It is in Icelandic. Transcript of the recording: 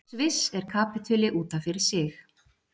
sviss er kapítuli út af fyrir sig